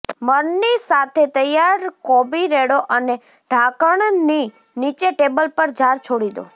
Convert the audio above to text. મરની સાથે તૈયાર કોબી રેડો અને ઢાંકણની નીચે ટેબલ પર જાર છોડી દો